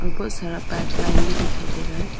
बहुत सारा pipeline भी दिखाई दे रहा है।